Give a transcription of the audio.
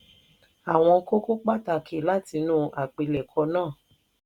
àwọn kókó pàtàkì látinú àpilẹ̀kọ náà